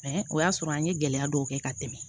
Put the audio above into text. o y'a sɔrɔ an ye gɛlɛya dɔw kɛ ka tɛmɛ